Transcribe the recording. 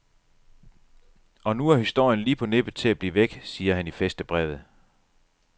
Og nu er historien lige på nippet til at blive væk, siger han i fæstebrevet.